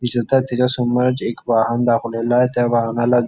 दिसत आहे तिच्या समोरच एक वाहन दाखवलेला आहे त्या वाहनाला --